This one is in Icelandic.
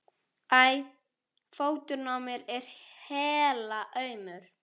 æ. fóturinn á mér er helaumur.